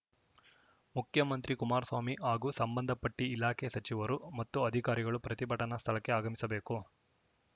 ಮುಖ್ಯಮಂತ್ರಿ ಕುಮಾರಸ್ವಾಮಿ ಹಾಗೂ ಸಂಬಂಧ ಪಟ್ಟಿಇಲಾಖೆ ಸಚಿವರು ಮತ್ತು ಅಧಿಕಾರಿಗಳು ಪ್ರತಿಭಟನಾ ಸ್ಥಳಕ್ಕೆ ಆಗಮಿಸಬೇಕು